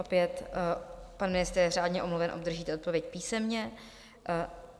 Opět, pan ministr je řádně omluven, obdržíte odpověď písemně.